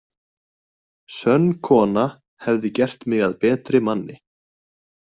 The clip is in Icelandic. Sönn kona hefði gert mig að betri manni.